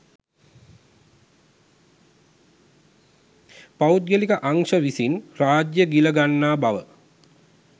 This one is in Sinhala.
පෞද්ගලික අංශ විසින් රාජ්‍ය ගිල ගන්නා බව